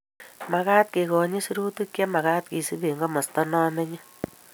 Magaat kegonyit sirutik chemagat keisub eng komosta nomenye